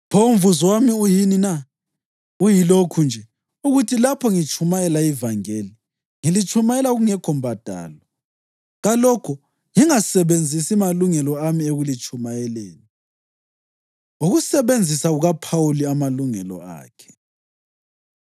Pho umvuzo wami uyini na? Uyilokhu nje: ukuthi lapho ngitshumayela ivangeli, ngilitshumayela kungekho mbadalo, kalokho ngingasebenzisi malungelo ami ekulitshumayeleni. Ukusebenzisa KukaPhawuli Amalungelo Akhe